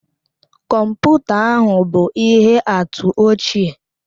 Kọmputa ahụ bụ ihe atụ ochie